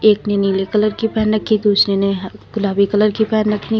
एक ने नीले कलर की पहन रखी है और दूसरे ने गुलाबी कलर की पहन रखी है।